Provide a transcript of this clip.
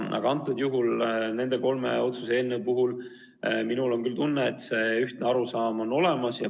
Aga nende kolme otsuse eelnõu puhul minul on küll tunne, et see ühtne arusaam on olemas.